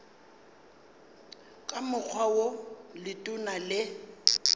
ka mokgwa wo letona le